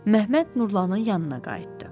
Məhəmməd Nurlanın yanına qayıtdı.